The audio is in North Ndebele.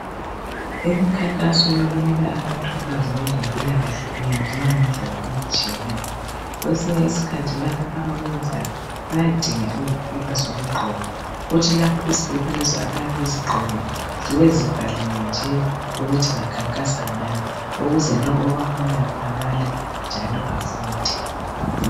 Imikhankaso yokunika abantu ulwazi ngezempilakahle iyenziwa ngendlela ezitshiyeneyo kwesinye isikhathi laba abakwenzayo bayadinga izikipa zokugqoka kuthi lapha izikipa lezi abayabe bezigqokile zibe ezibhaliwe nje ukuthi bakhankasa ngani ukuze lo obabonayo abale njalo afunde.